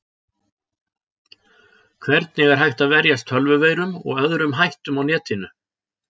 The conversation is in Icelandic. Hvernig er hægt að verjast tölvuveirum og öðrum hættum á netinu?